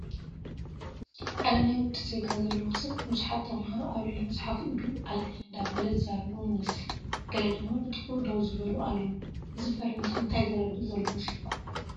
ሓደ ናይ ውጭ ዜጋ ዘለዎ ሰብ ንብዙሓት ተመሃሮ ኣብ ልዕሊ መፅሓፍ ኢዱ ኣልዕል እንዳበለ ዝዛረቦም ይመስል፡፡ ገለ ድማ ብጥቕኡ ደው ዝበሉ ኣለው፡፡ እዚ ፈረንጂ እንታይ ዘረድእ ዘሎ ይመስለኩም?